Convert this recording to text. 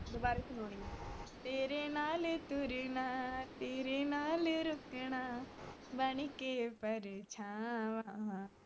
ਦੁਬਾਰੇ ਸੁਣਾਉਂਦੀ ਆ ਤੇਰੇ ਨਾਲ ਤੁਰਨਾ ਤੇਰੇ ਨਾਲ ਰੁਕਣਾ ਬਨ ਕੇ ਪਰਛਾਵਾਂ